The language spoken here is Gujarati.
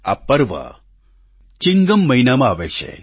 આ પર્વ ચિંગમ મહિનામાં આવે છે